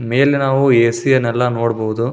ಮೇಲೆ ನಾವು A C ಅನ್ನೆಲ್ಲ ನೋಡಬಹುದು.